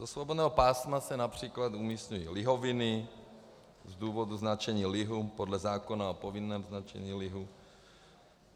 Do svobodného pásma se například umísťují lihoviny z důvodu značení lihu podle zákona o povinném značení lihu.